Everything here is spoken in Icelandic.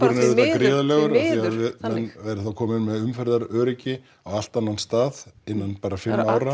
því miður þannig af við erum komin með umferðaröryggi á allt annan stað innan bara fimm ára